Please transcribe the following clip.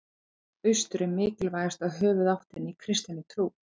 Austur er mikilvægasta höfuðáttin í kristinni trú.